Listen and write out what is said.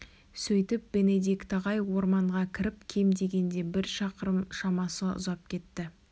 сөйтіп бенедикт ағай орманға кіріп кем дегенде бір шақырым шамасы ұзап кетті